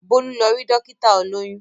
Bólú lọ rí Dókítà olóyún